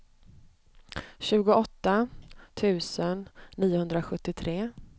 tjugoåtta tusen niohundrasjuttiotre